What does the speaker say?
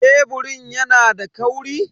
Keburin yana da kauri?